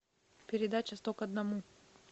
передача сто к одному